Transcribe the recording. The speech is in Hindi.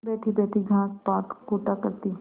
बैठीबैठी घास पात कूटा करती